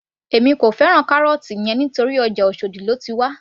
Èmi kò fẹ́ràn carrot yẹn torí ọjà oshòdì lóti wá